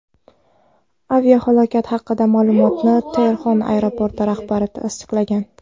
Aviahalokat haqidagi ma’lumotni Tehron aeroporti rahbari tasdiqlagan.